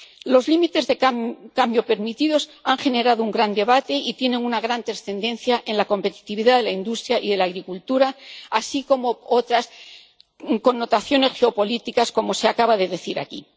Los límites de cadmio permitidos han generado un gran debate y tienen una gran trascendencia en la competitividad de la industria y de la agricultura, así como otras connotaciones geopolíticas, como se acaba de decir aquí.